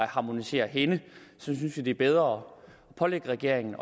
harmonisere henne synes vi bedre at pålægge regeringen